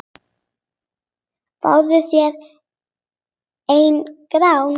Fáðu þér einn gráan!